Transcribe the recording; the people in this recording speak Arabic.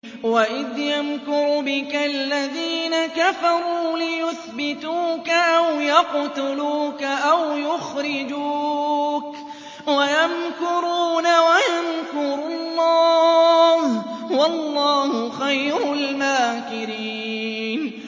وَإِذْ يَمْكُرُ بِكَ الَّذِينَ كَفَرُوا لِيُثْبِتُوكَ أَوْ يَقْتُلُوكَ أَوْ يُخْرِجُوكَ ۚ وَيَمْكُرُونَ وَيَمْكُرُ اللَّهُ ۖ وَاللَّهُ خَيْرُ الْمَاكِرِينَ